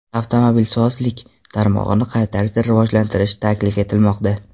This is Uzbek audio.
Avtomobilsozlik tarmog‘ini qay tarzda rivojlantirish taklif etilmoqda?